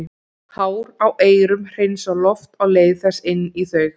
Hár á eyrum hreinsa loft á leið þess inn í þau.